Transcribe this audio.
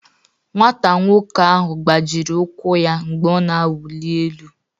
Nwata nwoke ahụ gbajiri ụkwụ ya mgbe ọ na-awụli elu